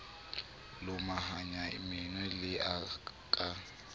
lomahanya meno e le ka